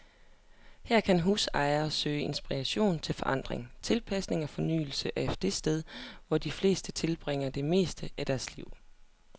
Her kan husejere søge inspiration til forandring, tilpasning og fornyelse af det sted, hvor de fleste tilbringer det meste af deres liv.